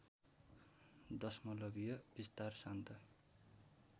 दशमलवीय विस्तार सान्त